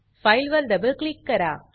file वर double click करा